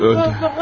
Öldü.